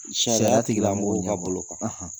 Sariyatigi an b'' bolo kan, .